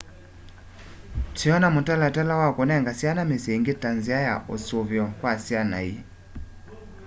twiona mutalatala wa kunenga syana misyi ingi ta nzia ya usuvio kwa syana ii